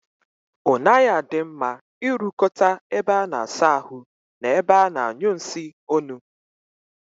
O naghi adi mma I rukota ebe a na-asa ahu na ebe a na-anyu nsi onu